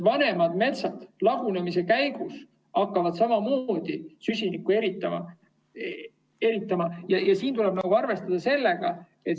Vanemad metsad hakkavad lagunemise käigus süsinikku eritama.